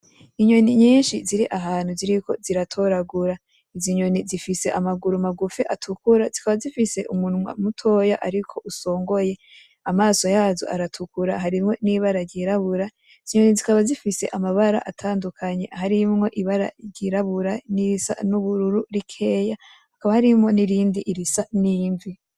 Inyoni nyinshi ziri ahantu ziriko ziratoragura. Izi nyoni zifise amaguru magufi atukura zikaba zifise umunwa mutoya ariko usongoye. Amaso yazo aratukura hariho n'ibara ryirabura. Izo nyoni zikaba zifise amabara atandunkanye harimwo ibara ryirabura n'irisa n'ubururu rikeya hakaba harimwo n'irindi risa n'imvi.